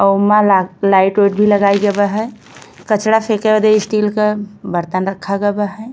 अ उमा लाई लाइट ओइट भी लगायी गबा हई। कचड़ा फेके ओदे स्टील का बर्तन रखा गबा है।